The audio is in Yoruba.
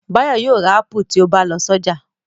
Báyọ̀ yóò ra ápù tí ó bá lọ sọ́jà.